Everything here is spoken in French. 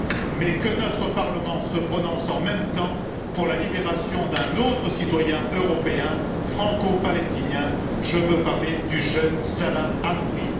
Mais il faut que notre Parlement se prononce en même temps pour la libération d'un autre citoyen européen, franco palestinien, je veux parler du jeune Salah Hamouri.